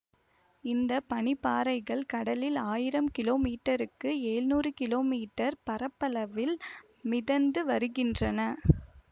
இந்த பனி பாறைகள் கடலில் ஆயிரம் கிலோ மீட்டருக்கு எழ்நூறு கிலோ மீட்டர் பரப்பளவில் மிதந்து வருகின்றன